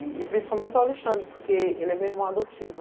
E principalmente o Alexandre, porque ele é meu irmão adotivo.